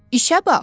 İşə bax!